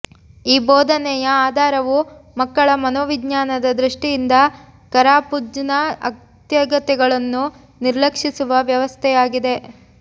ಈ ಬೋಧನೆಯ ಆಧಾರವು ಮಕ್ಕಳ ಮನೋವಿಜ್ಞಾನದ ದೃಷ್ಟಿಯಿಂದ ಕರಾಪುಜ್ನ ಅಗತ್ಯತೆಗಳನ್ನು ನಿರ್ಲಕ್ಷಿಸುವ ವ್ಯವಸ್ಥೆಯಾಗಿದೆ